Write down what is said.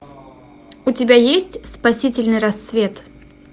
у тебя есть спасительный рассвет